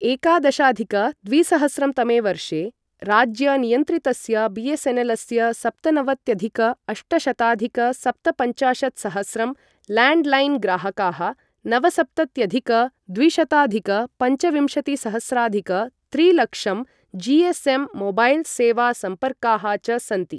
एकादशाधिक द्विसहस्रं तमे वर्षे राज्यनियन्त्रितस्य बीएसएनएलस्य सप्तनवत्यधिक अष्टशताधिक सप्तपञ्चाशत्सहस्रं लैण्डलाइनग्राहकाः नवसप्तत्यधिक द्विशताधिक पञ्चविंशतिसहस्राधिक त्रिलक्षं जीएसएममोबाइलसेवासम्पर्काः च सन्ति ।